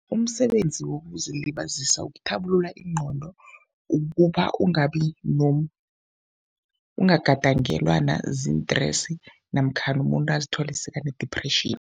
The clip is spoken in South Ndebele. Umsebenzi wokuzilibazisa ukuthabulula ingqondo ukuba ungabi ungagadangelwa naziintresi namkhana umuntu azithole sekane-depression.